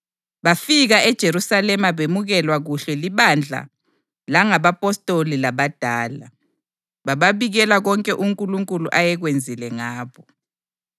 Bafika eJerusalema bemukelwa kuhle libandla langabapostoli labadala, bababikela konke uNkulunkulu ayekwenzile ngabo.